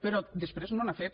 però després no n’ha fet